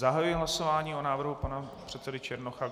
Zahajuji hlasování o návrhu pana předsedy Černocha.